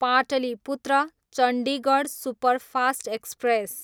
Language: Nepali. Pataliputra, Chandigarh superfast express